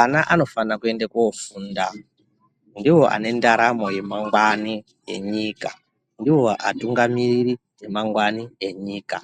Ana anofanira kuenda kofunda. Ndiwo ane ndaramo yemangwani enyika .Ndiwo atungamiriri emangwani enyika.